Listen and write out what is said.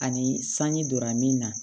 Ani sanji donna min na